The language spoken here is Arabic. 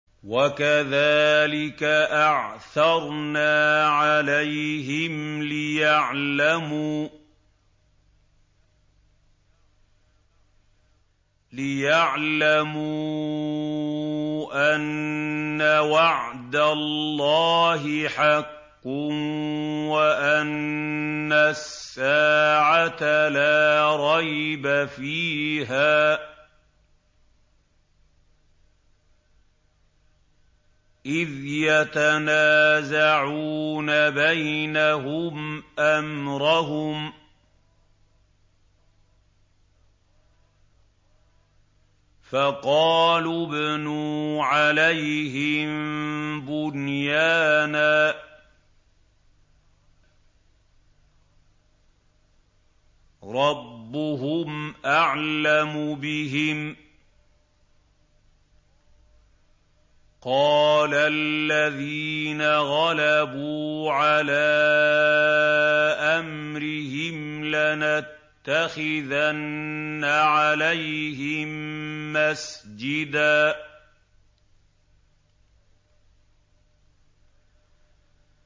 وَكَذَٰلِكَ أَعْثَرْنَا عَلَيْهِمْ لِيَعْلَمُوا أَنَّ وَعْدَ اللَّهِ حَقٌّ وَأَنَّ السَّاعَةَ لَا رَيْبَ فِيهَا إِذْ يَتَنَازَعُونَ بَيْنَهُمْ أَمْرَهُمْ ۖ فَقَالُوا ابْنُوا عَلَيْهِم بُنْيَانًا ۖ رَّبُّهُمْ أَعْلَمُ بِهِمْ ۚ قَالَ الَّذِينَ غَلَبُوا عَلَىٰ أَمْرِهِمْ لَنَتَّخِذَنَّ عَلَيْهِم مَّسْجِدًا